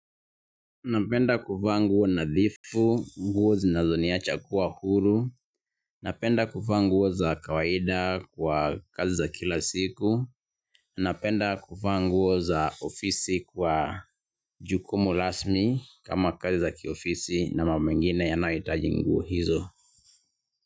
Napenda kuvaa nguo nadhifu, nguo zinazoniacha kuwa huru, napenda kuvaa nguo za kawaida kwa kazi za kila siku, napenda kuvaa nguo za ofisi kwa jukumu rasmi kama kazi za kiofisi na mambo mengine yanayohitaji nguo hizo.